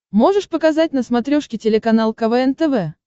можешь показать на смотрешке телеканал квн тв